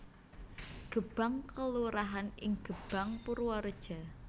Gebang kelurahan ing Gebang Purwareja